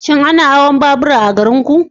Shin ana hawan babura a garinku?